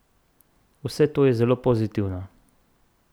Vse to je zelo pozitivno.